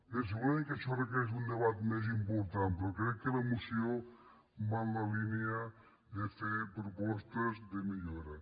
bé segurament que això requereix un debat més important però crec que la moció va en la línia de fer propostes de millora